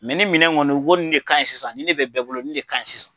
Mɛ nin minɛn kɔni, i b'olu de k'a ye sisan, nin de bɛ bɛɛ bolo de sisan, nin de ka .ɲin sisan.